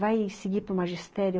Vai seguir para o magistério?